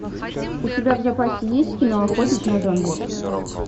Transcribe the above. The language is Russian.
у тебя в запасе есть кино охотник на зомби